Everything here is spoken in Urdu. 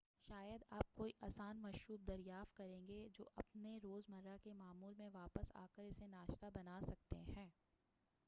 شاید آپ کوئی آسان مشروب دریافت کریں گے جو آپ اپنے روز مرہ کے معمول میں واپس آکر اسے ناشتہ بناسکتے ہیں